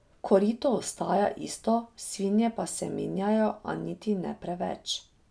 Korito ostaja isto, svinje pa se menjajo, a niti ne preveč.